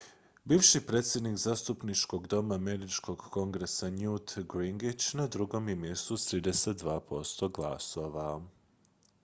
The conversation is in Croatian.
bivši predsjednik zastupničkog doma američkog kongresa newt gingrich na drugom je mjestu s 32 posto glasova